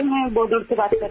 I am speaking from Bodal